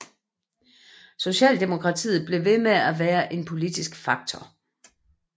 Socialdemokratiet blev ved med at være en politisk faktor